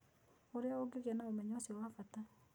Ũrĩa ũngĩgĩa na ũmenyo ũcio wa bata.